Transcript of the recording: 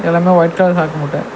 எல்லாமே white colour சாக்கு மூட்ட.